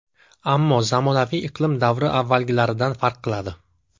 Ammo zamonaviy iqlim davri avvalgilaridan farq qiladi.